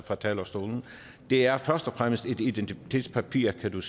fra talerstolen det er først og fremmest et identitetspapir kan